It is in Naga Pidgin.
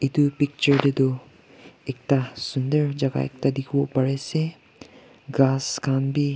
itu picture tey tu ekta sundor jaka ekta dikhi wo pari ase grass khan bi--